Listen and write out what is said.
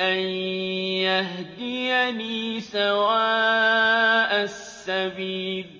أَن يَهْدِيَنِي سَوَاءَ السَّبِيلِ